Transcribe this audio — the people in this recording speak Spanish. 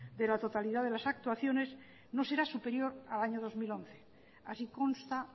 de la totalidad de las actuaciones no será superior al año dos mil once así consta